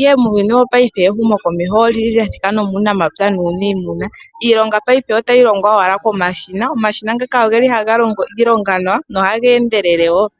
ihe muuyuni wo payife ehumo komeho olyathima nomuunamapya nuunimuna. Iilonga payife otayi longwa owala komashina, omashina ngaka oha ga longo iilonga nawa noha geendelele woo.